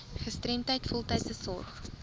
gestremdheid voltydse sorg